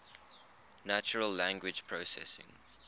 natural language processing